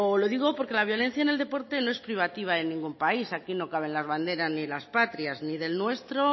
lo digo porque la violencia en el deporte no es privativa de ningún país aquí no caben las banderas ni las patrias ni del nuestro